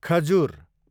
खजुर